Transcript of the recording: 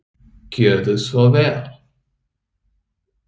Gjörðu svo vel.